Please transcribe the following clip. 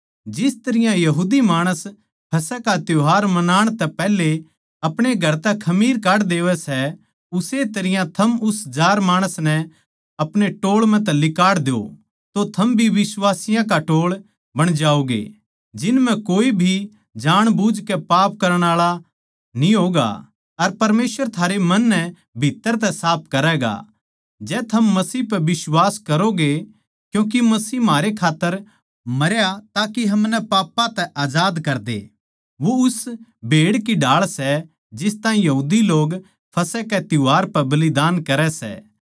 जिस तरियां यहूदी माणस फसह का त्यौहार मनाण तै पैहले आपणे घर तै खमीर काढ देवै सै उस्से तरियां थम उस जार माणस नै अपणे टोळ म्ह तै लिकाड़ द्यो तो थम वो बिश्वासियाँ का टोळ बण जाओगे जिन म्ह कोए भी जाणबुझ के पाप करण आळा न्ही होगा अर परमेसवर थारे मन नै भित्तर तै साफ करैगा जै थम मसीह पै बिश्वास करोंगे क्यूँके मसीह म्हारे खात्तर मरया ताके हमनै पापां तै आजाद करदे वो उस भेड़ की ढाळ सै जिस ताहीं यहूदी लोग फसह के त्यौहार पै बलिदान करै सै